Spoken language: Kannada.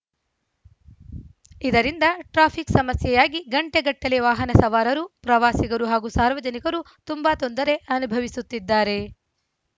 ಇದರಿಂದ ಟ್ರಾಫಿಕ್‌ ಸಮಸ್ಯೆಯಾಗಿ ಗಂಟೆಗಟ್ಟಲೆ ವಾಹನ ಸವಾರರು ಪ್ರವಾಸಿಗರು ಹಾಗೂ ಸಾರ್ವಜನಿಕರು ತುಂಬಾ ತೊಂದರೆ ಅನುಭವಿಸುತ್ತಿದ್ದಾರೆ